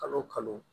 Kalo o kalo